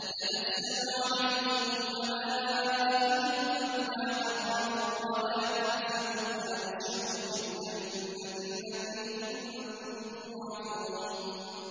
تَتَنَزَّلُ عَلَيْهِمُ الْمَلَائِكَةُ أَلَّا تَخَافُوا وَلَا تَحْزَنُوا وَأَبْشِرُوا بِالْجَنَّةِ الَّتِي كُنتُمْ تُوعَدُونَ